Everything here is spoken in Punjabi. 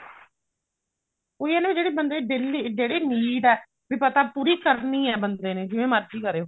ਉਹੀ ਆ ਨਾ ਜਿਹੜੀ ਬੰਦੇ ਦੀ daily need ਆ ਵੀ ਪਤਾ ਪੂਰੀ ਕਰਨੀ ਹੈ ਬੰਦੇ ਨੇ ਜਿਵੇਂ ਮਰਜ਼ੀ ਕਰੇ ਉਹ